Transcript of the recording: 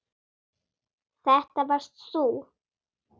Þetta varst þú.